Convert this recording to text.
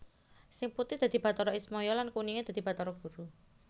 Sing putih dadi Bathara Ismaya lan kuninge dadi Bathara Guru